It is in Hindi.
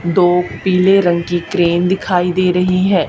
दो पीले रंग की क्रेन दिखाई दे रही है।